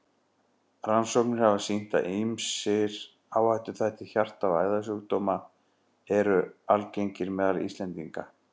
Rannsóknir hafa sýnt, að ýmsir áhættuþættir hjarta- og æðasjúkdóma eru algengir meðal Íslendinga.